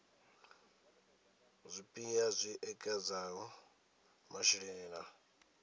zwipia zwi ekedzaho masheleni na